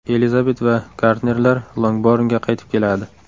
Elizabet va Gardnerlar Longbornga qaytib keladi.